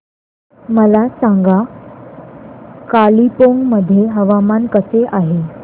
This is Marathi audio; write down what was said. मला सांगा कालिंपोंग मध्ये हवामान कसे आहे